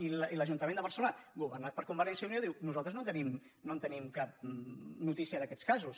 i l’ajuntament de barcelona governat per con·vergència i unió diu nosaltres no en tenim cap no·tícia d’aquests casos